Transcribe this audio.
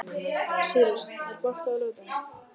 Sýrus, er bolti á laugardaginn?